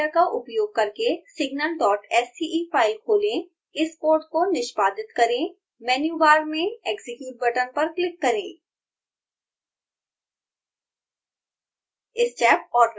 scilab editor का उपयोग करके signalsce फाइल खोलें इस कोड को निष्पादित करें मैन्यू बार में execute बटन पर क्लिक करें